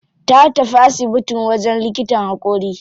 Ta tafi asibitin wajen likitan haƙori.